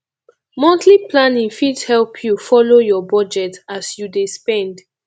monthly planning fit help yu folo yur bujet as yu dey spend